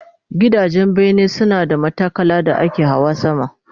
Gidajen bene suna da matakala da ake Hawa sama